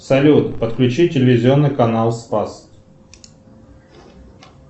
салют подключи телевизионный канал спас